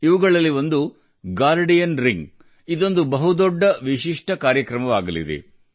ಇವುಗಳಲ್ಲಿ ಒಂದು guardian ring ಇದೊಂದು ಬಹುದೊಡ್ಡ ವಿಶಿಷ್ಟ ಕಾರ್ಯಕ್ರಮವಾಗಲಿದೆ